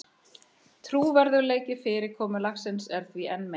Trúverðugleiki fyrirkomulagsins er því enn meiri